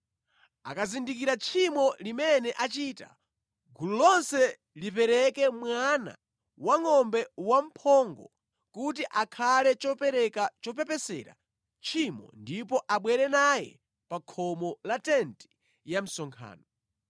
Akazindikira tchimo limene achita, gulu lonse lipereke mwana wangʼombe wamphongo kuti akhale chopereka chopepesera tchimo ndipo abwere naye pa khomo la tenti ya msonkhano.